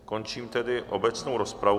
Končím tedy obecnou rozpravu.